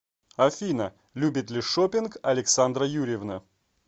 афина любит ли шоппинг александра юрьевна